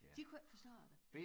De kunne ikke forstå det